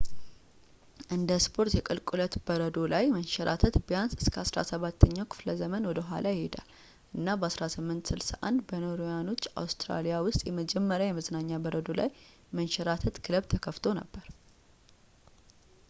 እንደ ስፖርት የቁልቁለት በረዶ ላይ መንሸራተት ቢያንስ እስከ 17ኛው ክፍለ ዘመን ወደኋላ ይሄዳል እና በ1861 በኖርዌያኖች አውስትራሊያ ውስጥ የመጀመሪያው የመዝናኛ በረዶ ላይ መንሸራተት ክለብ ተከፍቶ ነበር